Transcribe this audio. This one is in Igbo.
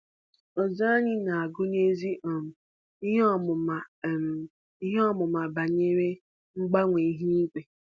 Ọzụzụ anyị na-agụnyezi um ihe ọmụma um ihe ọmụma banyere mgbanwe ihu igwe.